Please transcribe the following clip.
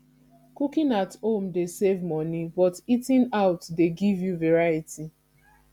cooking at home dey save money but eating out dey give you variety